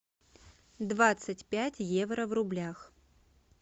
двадцать пять евро в рублях